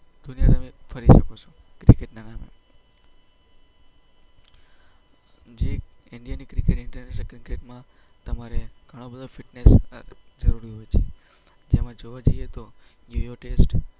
દુનિયા તમે ફરી શકો છો. ક્રિકેટના નામે. જે ઈન્ડિયાની ક્રિકેટ ઈન્ટરનેશનલ ક્રિકેટમાં તમારે ઘણી બધી ફિટનેસ જરૂરી હોય છે. જેમાં જોવા જઈએ તો